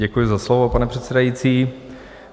Děkuji za slovo, pane předsedající.